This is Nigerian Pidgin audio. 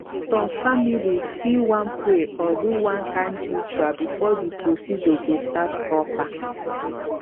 some families fit wan pray or do one kind ritual before the procedure go start proper.